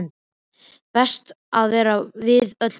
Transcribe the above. Best að vera við öllu búinn!